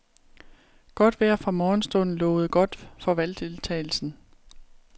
Godt vejr fra morgenstunden lovede godt for valgdeltagelsen.